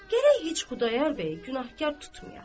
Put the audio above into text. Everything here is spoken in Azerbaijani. Gərək heç Xudayar bəyi günahkar tutmayaq.